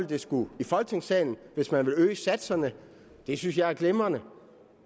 det skulle i folketingssalen hvis man vil øge satserne det synes jeg er glimrende